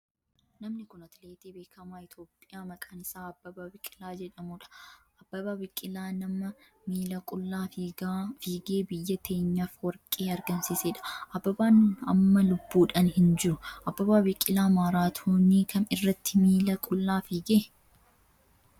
Namni kun atileetii beekamaa Itiyoophiyaa maqaan isaa Abbabaa Biqilaa jedhamudha. Abbabaa Biqilaa nama miila qullaa fiigee biyya teenyaf warqee argamsiisedha. Abbabaan amma lubbuudhan hin jiru. Abbabaa biqilaa maaraatoonii kam irratti miila qullaa fiige?